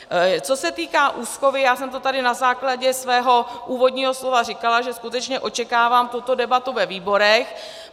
Co se týká úschovy, já jsem to tady na základě svého úvodního slova říkala, že skutečně očekávám tuto debatu ve výborech.